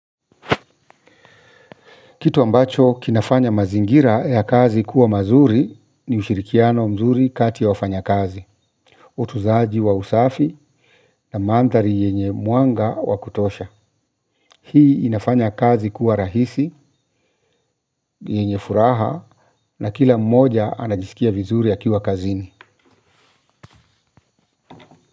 Kitu ambacho kinafanya mazingira ya kazi kuwa mazuri ni ushirikiano mzuri kati ya wafanya kazi. Utunzaji wa usafi na mandhari yenye muanga wa kutosha. Hii inafanya kazi kuwa rahisi, yenye furaha na kila mmoja anajisikia vizuri akiwa kazini.